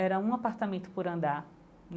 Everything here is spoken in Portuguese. Era um apartamento por andar.